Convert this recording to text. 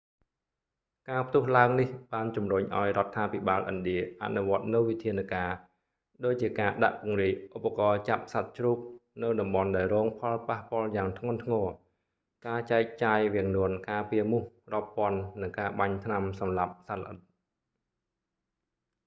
ការផ្ទុះឡើងនេះបានជំរុញឱ្យរដ្ឋាភិបាលឥណ្ឌាអនុវត្តនូវវិធានការណ៍ ដូចជាការដាក់ពង្រាយឧបករណ៍ចាប់សត្វជ្រូកនៅតំបន់ដែលរងផលប៉ះពាល់យ៉ាងធ្ងន់ធ្ងរ ការចែកចាយវាំងននការពារមូសរាប់ពាន់និងការបាញ់ថ្នាំសម្លាប់សត្វល្អិត